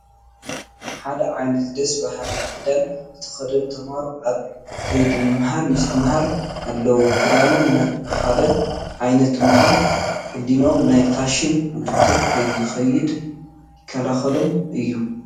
ሓደ ዓይነት ደስ በሃሊ ክዳን ዝተኸደኑ ተመሃሮ ኣብ ከይዲ ምምሃር ምስትምሃር ኣለዉ፡፡ ክዳኖም ሓደ ዓይነት ምዃኑ ሕሊንኦም ናብ ፋሽን ውድድር ከይኸይድ ይከላኸለሎም እዩ፡፡